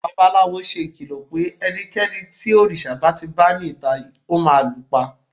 babalawo se ìkìlọ pe ẹnikẹni tí òrìṣà ba ti ba ni ita, o ma lu pa